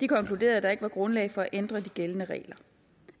de konkluderede at der ikke er grundlag for at ændre de gældende regler